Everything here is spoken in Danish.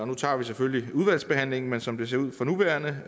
nu tager vi selvfølgelig udvalgsbehandlingen men som det ser ud for nuværende